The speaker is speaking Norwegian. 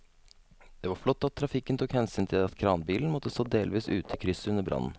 Det var flott at trafikken tok hensyn til at kranbilen måtte stå delvis ute i krysset under brannen.